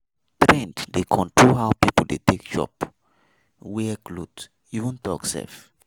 Trends dey control how people dey take chop, wear cloth even talk sef.